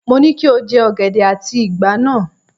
Mo ní kí o jẹ ọ̀gẹ̀dẹ̀ àti ìgbà ní!